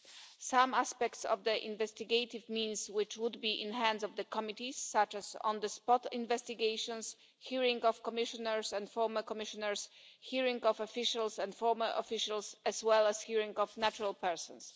certain aspects of the investigative means which would be in the hands of the committee, such as on the spot investigations, hearings of Commissioners and former Commissioners, hearings of officials and former officials, as well as hearings of natural persons